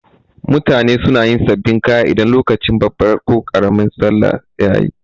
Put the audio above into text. Mutane suna yin sabin kaya idan lokacin babban ko karamin sallah yayi